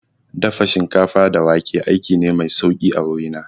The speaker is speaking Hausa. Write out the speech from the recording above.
Dafa shinkafa da wake aiki ne mai sauki a wuri na